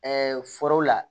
foro la